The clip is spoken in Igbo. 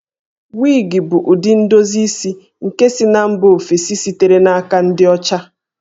Wig bụ ụdị ndozi isi nke si na mba ofesi sitere n'aka ndị ọcha